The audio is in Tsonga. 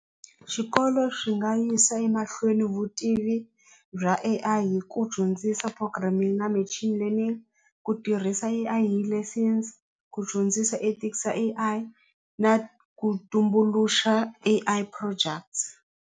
Xikolo swi nga yisa emahlweni vutivi bya A_I hi ku dyondzisa programming na learning ku tirhisa A_I hi lessons ku dyondzisa ethics ya A_I na ku tumbuluxa A_I projects.